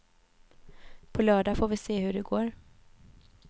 På lördag får vi se hur det går.